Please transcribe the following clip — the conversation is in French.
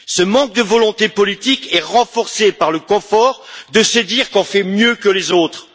Ce manque de volonté politique est renforcé par le confort de se dire qu'on fait mieux que les autres.